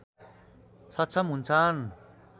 सक्षम हुन्छन्